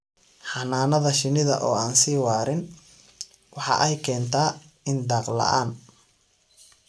Xannaanada shinnida oo aan sii waarin waxa ay keentaa in daaq la'aan.